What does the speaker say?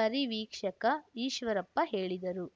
ಪರಿವೀಕ್ಷಕ ಈಶ್ವರಪ್ಪ ಹೇಳಿದರು